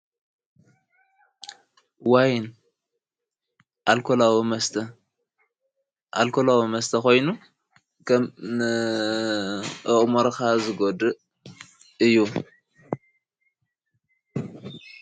ወይን ኣልኮላዊ መስተ ኾይኑ ንአእሙሮኻ ዝጐድእ እዩ።